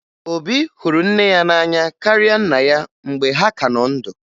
Obi hụrụ nne ya n'anya karịa nna ya mgbe ha ka nọ ndụ